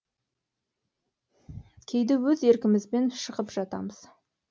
кейде өз еркімізбен шығып жатамыз